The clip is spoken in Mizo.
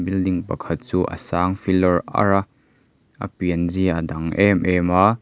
building pakhat chu a sang filawr arr a a pianzia a dang em em a.